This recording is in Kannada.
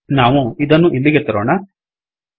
ನಾವು ಇದನ್ನು ಇಲ್ಲಿಗೆ ತರೋಣ